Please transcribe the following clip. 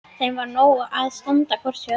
Þeim var nóg að standa hvort hjá öðru.